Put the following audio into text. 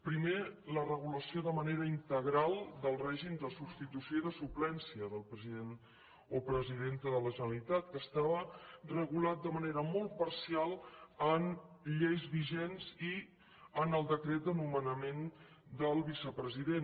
primer la regulació de manera integral del règim de substitució i suplència del president o presidenta de la generalitat que estava regulat de manera molt parcial en lleis vigents i en el decret de nomenament del vicepresident